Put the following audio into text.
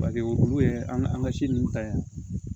Paseke olu ye an ka an ka si ninnu ta yan